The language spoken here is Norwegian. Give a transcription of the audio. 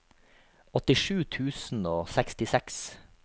åttisju tusen og sekstiseks